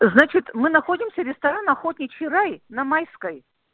значит мы находимся ресторан охотничий рай на майской